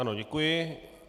Ano, děkuji.